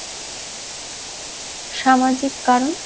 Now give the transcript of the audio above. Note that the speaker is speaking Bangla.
সামাজিক কারণ